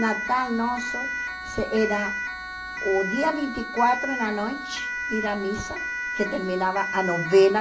Natal nosso era o dia vinte e quatro, na noite, ir à missa, que terminava a novena.